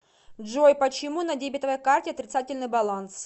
джой почему на дебетовой карте отрицательный баланс